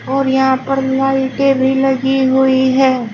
और यहां पर लाइटें भी लगी हुई हैं।